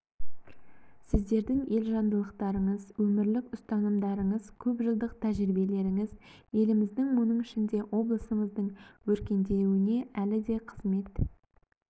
сіздердің елжандылықтарыңыз өмірлік ұстанымдарыңыз көп жылдық тәжірибелеріңіз еліміздің оның ішінде облысымыздың өркендеуіне әлі де қызмет